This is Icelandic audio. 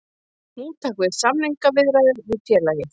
Nú taka við samningaviðræður við félagið